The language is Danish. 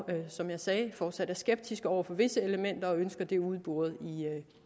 som jeg sagde fortsat skeptiske over for visse elementer og ønsker dem udboret